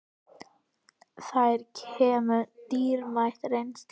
Þeir kæmu með dýrmæta reynslu